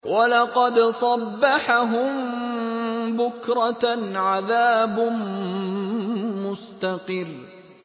وَلَقَدْ صَبَّحَهُم بُكْرَةً عَذَابٌ مُّسْتَقِرٌّ